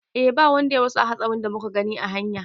E ba wanda ya rasu a hatsarin da muka gani a hanya